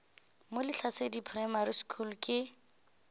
mo lehlasedi primary school ke